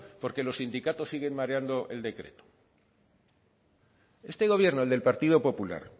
porque los sindicatos siguen mareando el decreto este gobierno el del partido popular